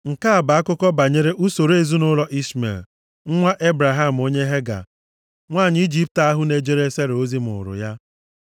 Nke a bụ akụkọ banyere usoro ezinaụlọ Ishmel nwa Ebraham onye Hega, nwanyị Ijipt ahụ na-ejere Sera ozi mụụrụ ya.